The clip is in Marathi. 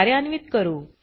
कार्यान्वीत करू